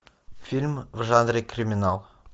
фильм в жанре криминал